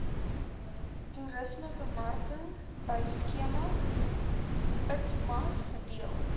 toerismebemarkingbystandskema itmas deel